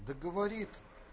да говорит